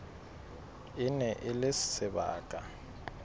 e ne e le sebaka